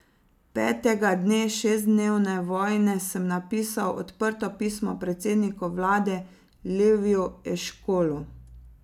Petega dne šestdnevne vojne sem napisal odprto pismo predsedniku vlade Leviju Eškolu.